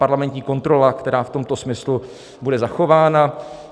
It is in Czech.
Parlamentní kontrola, která v tomto smyslu bude zachována.